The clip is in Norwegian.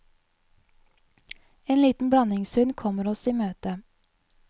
En liten blandingshund kommer oss i møte.